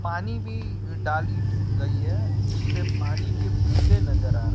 पानी भी डाली गई है जिससे पानी के बुंदे नजर आ--